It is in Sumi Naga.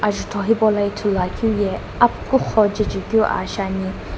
ajutho hipau lo ithulu akiu ye apkhukukho jechekiu a shi ani.